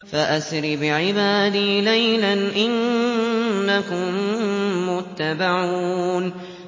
فَأَسْرِ بِعِبَادِي لَيْلًا إِنَّكُم مُّتَّبَعُونَ